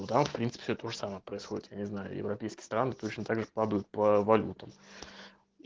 ну там в принципе все тоже самое происходит я не знаю европейские страны точно также падают по валютам